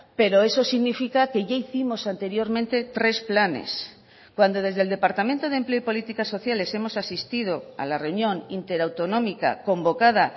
pero eso significa que ya hicimos anteriormente tres planes cuando desde el departamento de empleo y políticas sociales hemos asistido a la reunión inter autonómica convocada